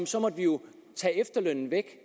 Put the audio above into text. så må vi jo tage efterlønnen væk